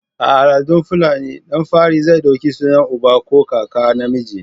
A al'adar fulani, ɗan fari zai ɗauki sunan uba ko kaka namiji.